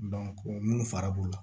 mun fari b'u la